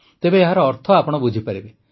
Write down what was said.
ତେବେ ଏହାର ଅର୍ଥ ଆପଣ ବୁଝିପାରିବେ